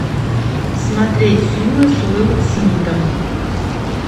смотреть фильмы с уилл смитом